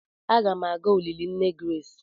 Aga m aga olili nne Grace.